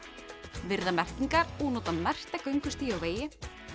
virða merkingar og nota merkta göngustíga og vegi